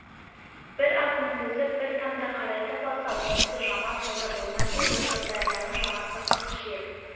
бір ат мінгізіп бір тамды қарайтып алса онысы жаман сауда болмас еді сырдарияның жағасы қыс жел